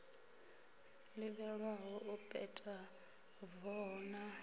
ḓivhelwaho u peta voho na